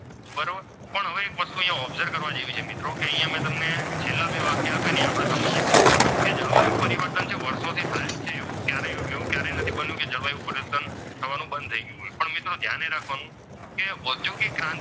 એક વસ્તુ અહીંયા observe કરવા જેવી છે મિત્રો કે અહીંયા મેં તમને છેલ્લા બે વાક્ય આપ્યા ને તે આપણે સમજીએ. તે જળવાયું પરિવર્તન વર્ષોથી થાય જ છે તેઓ તેવું ક્યારેય નથી બન્યું કે જળવાયું પરિવર્તન થવાનું બંધ થયું હોય પણ મિત્રો ધ્યાન એ રાખવાનું કે વધ્યું કે ક્રાંતિ,